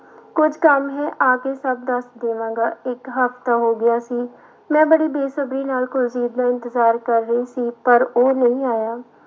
ਕੁੱਝ ਕੰਮ ਹੈ ਆ ਕੇ ਸਭ ਦੱਸ ਦੇਵਾਂਗਾ ਇੱਕ ਹਫ਼ਤਾ ਹੋ ਗਿਆ ਸੀ, ਮੈਂ ਬੜੀ ਬੈਸਬਰੀ ਨਾਲ ਕੁਲਜੀਤ ਦਾ ਇੰਤਜ਼ਾਰ ਕਰ ਰਹੀ ਸੀ ਪਰ ਉਹ ਨਹੀਂ ਆਇਆ।